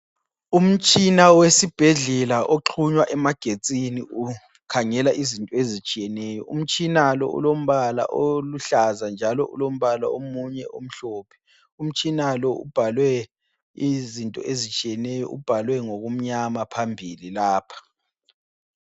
Umtshina wesibhedlela oxhunywa emagetsini ukhangela izinto ezitshiyeneyo. Umtshina lo ulombala oluhlaza njalo ulombala omunye omhlophe. Umtshina lo ubhalwe izinto ezitshiyeneyo, ubhalwe ngokumnyama phambili lapha.